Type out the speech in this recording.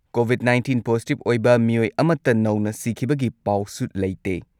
COVID nineteen positive ꯑꯣꯏꯕ ꯃꯤꯑꯣꯏ ꯑꯃꯠꯇ ꯅꯧꯅ ꯁꯤꯈꯤꯕꯒꯤ ꯄꯥꯎꯁꯨ ꯂꯩꯇꯦ꯫